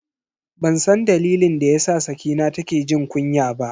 Bansan dalilin da yasa Sakina take jin kunya ba.